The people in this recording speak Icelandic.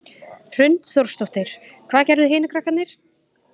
Hrund Þórsdóttir: Hvað gerðu hinir krakkarnir?